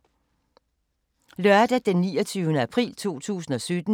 Lørdag d. 29. april 2017